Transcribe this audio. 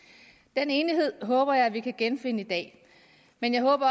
den enighed håber jeg vi kan genfinde i dag men jeg håber